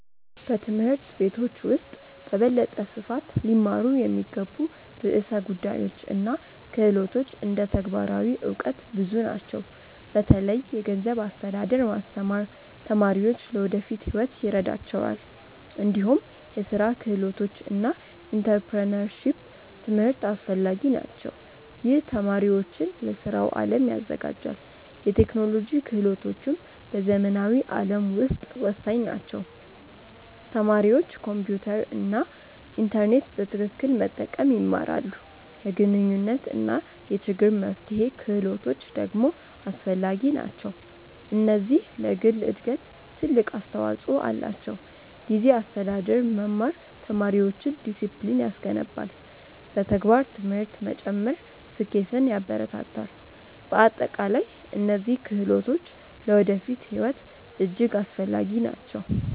በትምህርት ቤቶች ውስጥ በበለጠ ስፋት ሊማሩ የሚገቡ ርዕሰ ጉዳዮች እና ክህሎቶች እንደ ተግባራዊ እውቀት ብዙ ናቸው። በተለይ የገንዘብ አስተዳደር ማስተማር ተማሪዎች ለወደፊት ሕይወት ይረዳቸዋል። እንዲሁም የስራ ክህሎቶች እና ኢንተርፕረነርሺፕ ትምህርት አስፈላጊ ናቸው። ይህ ተማሪዎችን ለስራው አለም ያዘጋጃል። የቴክኖሎጂ ክህሎቶችም በዘመናዊ ዓለም ውስጥ ወሳኝ ናቸው። ተማሪዎች ኮምፒውተር እና ኢንተርኔት በትክክል መጠቀም ይማራሉ። የግንኙነት እና የችግር መፍትሄ ክህሎቶች ደግሞ አስፈላጊ ናቸው። እነዚህ ለግል እድገት ትልቅ አስተዋፅኦ አላቸው። ጊዜ አስተዳደር መማር ተማሪዎችን ዲሲፕሊን ያስገነባል። በተግባር ትምህርት መጨመር ስኬትን ያበረታታል። በአጠቃላይ እነዚህ ክህሎቶች ለወደፊት ሕይወት እጅግ አስፈላጊ ናቸው።